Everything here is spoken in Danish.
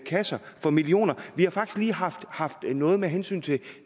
kasser for millioner vi har faktisk lige haft haft noget med hensyn til